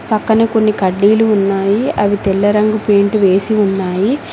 పక్కన కొన్ని కడ్డీలు ఉన్నాయి అవి తెల్ల రంగు పెయింట్ వేసి ఉన్నాయి.